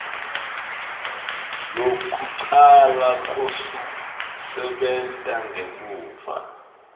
lwekucala lwekusebenta ngemuva